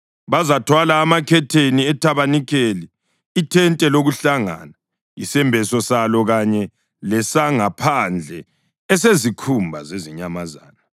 Bazathwala amakhetheni ethabanikeli, ithente lokuhlangana, isembeso salo kanye lesangaphandle esezikhumba zezinyamazana, amakhetheni entuba yethente lokuhlangana,